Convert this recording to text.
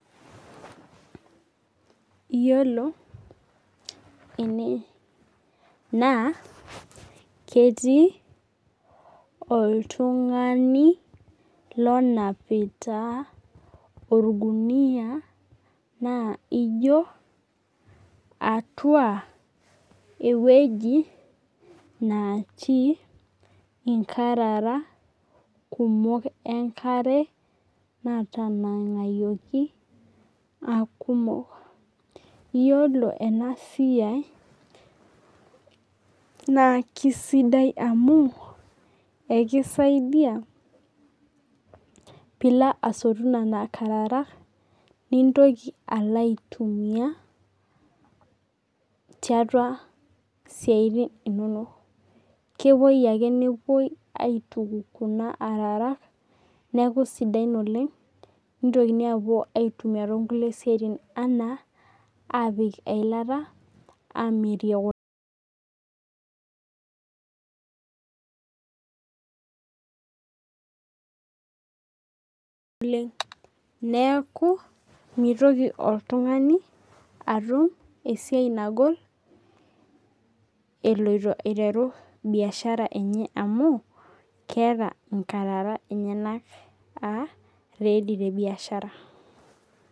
Iyiolo enee naa ketii oltung'ani lonipita orgunia naa ijo atua eweji naat inkarara kumok enkare natanang'ayioki aa kumok. Iyiolo ena siai naa kisidai amu ekeisaidia pee ilo asotu nena arara nintoki alo aitumia tiatua siatin inonok. Kepuoi ake nepoi atuku kuna arara neeku sidain oleng'. Nitoki apuo aitumia toonkulie tokitin anaa apik eilata amirie kule neeku mitoki oltung'ani atum esiai nagol eloito aiteru biashara enye amu inkararak enyenak eloito aitumia.